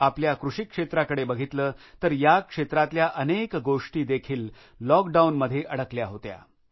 आपल्या कृषीक्षेत्राकडे बघितले तर या क्षेत्रातल्या अनेक गोष्टी देखील लॉकडाऊन मध्ये अडकल्या होत्या